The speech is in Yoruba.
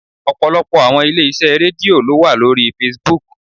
Ọ̀pọ̀lọpọ̀ àwọn ilé iṣẹ́ Rédíò ló wà lórí Facebook.